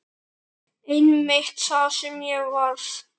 Einmitt það sem ég varð.